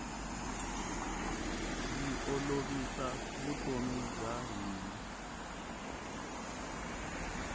yi olovisa vutomi bya hina